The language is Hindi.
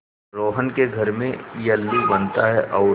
रोहन के घर में येल्लू बनता है और